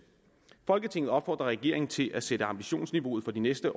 folketinget opfordrer regeringen til at sætte ambitionsniveauet for de næste